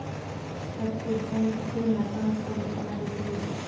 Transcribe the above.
प्रत्येक जण तिथे नतमस्तक होताना दिसत होते.